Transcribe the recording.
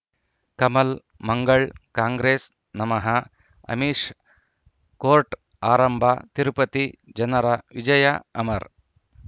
ಕಮಲ್ ಮಂಗಳ್ ಕಾಂಗ್ರೆಸ್ ನಮಃ ಅಮಿಷ್ ಕೋರ್ಟ್ ಆರಂಭ ತಿರುಪತಿ ಜನರ ವಿಜಯ ಅಮರ್